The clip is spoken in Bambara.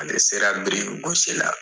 Ale sera biriki gosisi la.